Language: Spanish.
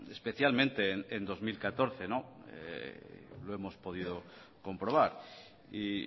especialmente en dos mil catorce lo hemos podido comprobar y